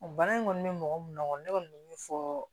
Bana in kɔni bɛ mɔgɔ mun na kɔni ne kɔni bɛ min fɔ